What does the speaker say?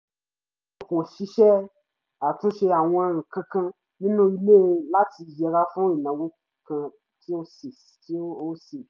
mo kọ́ ṣíṣe àtúnṣe àwọn nǹkankan nínú ilé láti yẹra fún ìnáwó kan tí ó ṣe é ṣe